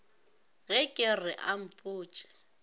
ge ke re a mpotše